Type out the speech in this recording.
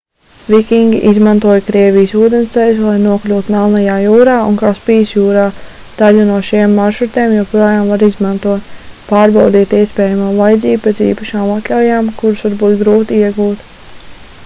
vikingi izmantoja krievijas ūdensceļus lai nokļūtu melnajā jūrā un kaspijas jūrā daļu no šiem maršrutiem joprojām var izmantot pārbaudiet iespējamo vajadzību pēc īpašām atļaujām kuras var būt grūti iegūt